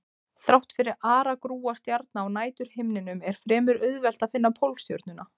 Þrátt fyrir aragrúa stjarna á næturhimninum er fremur auðvelt að finna Pólstjörnuna.